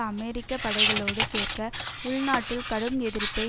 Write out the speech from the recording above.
அமெரிக்க படைகளோடு சேர்க்க உள்நாட்டில் கடும் எதிர்ப்பை